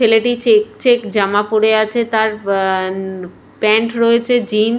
ছেলেটি check check জামা পরে আছে। তার উম অ্যা প্যান্ট রয়েছে জিন--